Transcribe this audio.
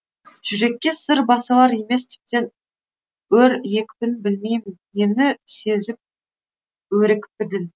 жүрекке сыр басылар емес тіптен өр екпінің білмеймін нені сезіп өрекпідің